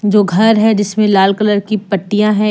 दो घर है जिसमें लाल कलर की पट्टीया हैं।